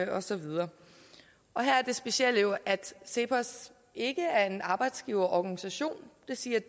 og så videre her er det specielle jo at cepos ikke er en arbejdsgiverorganisation det siger